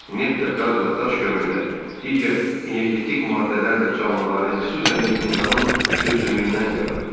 Neft də, qaz da, daş kömür də, digər energetik maddələr də canlıların, xüsusən də insanın süm-sümüyündən yaranıb.